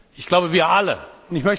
Ich glaube, wir alle tun